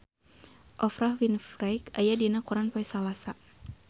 Oprah Winfrey aya dina koran poe Salasa